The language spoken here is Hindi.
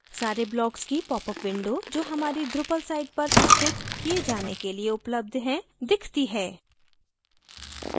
सारे blocks की popअप window जो हमारी drupal site पर स्थित kiye jane के लिए उपलब्ध हैं दिखती है